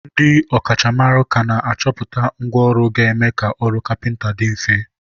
ndị ọ kachamara ka na-achọpụta ngwa ọrụ ga-eme ka ọrụ kapịnta dị mfe.